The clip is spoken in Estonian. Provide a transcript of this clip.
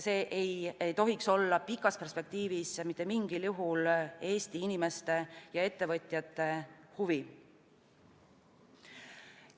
See ei tohiks olla pikas perspektiivis mitte mingil juhul Eesti inimeste ja ettevõtjate huvi.